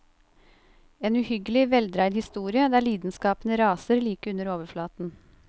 En uhyggelig, veldreid historie, der lidenskapene raser like under overflaten.